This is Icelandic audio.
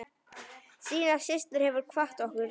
Stína systir hefur kvatt okkur.